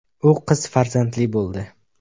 U qiz farzandli bo‘ldi .